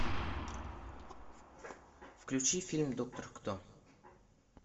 включи фильм доктор кто